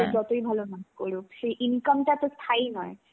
সে যতই বড় নাচ করুক. সেই income টা স্থায়ী নয়.